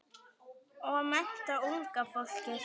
Og mennta unga fólkið.